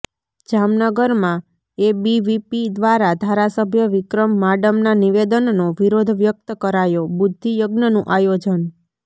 જામનગરમાં એબીવીપી દ્વારા ધારાસભ્ય વિક્રમ માડમના નિવેદનનો વિરોધ વ્યકત કરાયોઃ બુદ્ઘિ યજ્ઞનું આયોજન